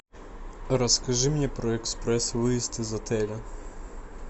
расскажи мне про экспресс выезд из отеля